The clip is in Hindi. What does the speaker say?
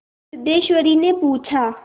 सिद्धेश्वरीने पूछा